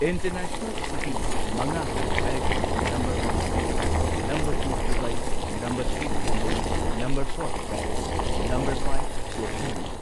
International cities ꯃꯉꯥ ꯍꯥꯏꯌꯨ ꯍꯥꯏꯔꯒꯗꯤ number one Seoul number two Dubai number three London number four Paris number five ꯇꯣꯀ꯭ꯌꯣꯅꯤ꯫